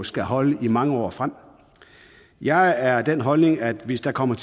skal holde i mange år frem jeg er af den holdning at hvis der kommer